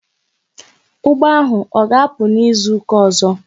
Ụgbọ ahụ ọ ga-apụ n'izuka ọzọ?